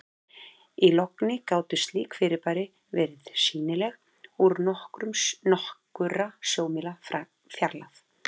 Í logni gátu slík fyrirbæri verið sýnileg úr nokkurra sjómílna fjarlægð.